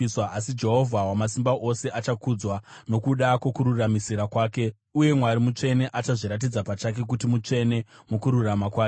Asi Jehovha Wamasimba Ose achakudzwa, nokuda kwokururamisira kwake, uye Mwari, mutsvene achazviratidza pachake kuti mutsvene, mukururama kwake.